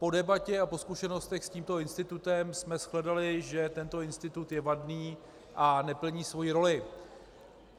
Po debatě a po zkušenostech s tímto institutem jsme shledali, že tento institut je vadný a neplní svoji roli.